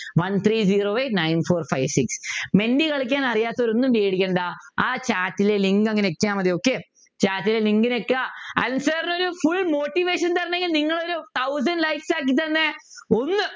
One three zero eight nine four five six Menti കളിക്കാൻ അറിയാത്തവരൊന്നും പേടിക്കണ്ട ആ chat ലെ link അങ്ങ് ഞെക്കിയാൽ മതി okay chat ലെ link അങ്ങ് ഞെക്കുക അനിൽ sir നൊരു full motivation തരാണെങ്കില് നിങ്ങളൊരു thousand likes ആക്കിത്തന്നെ ഒന്ന്